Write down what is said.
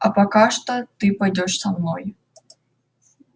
а пока что ты пойдёшь со мной